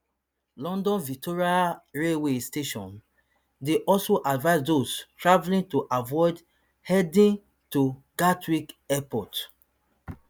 london victoria railway station dey also advise those travelling to avoid heading to gatwick airport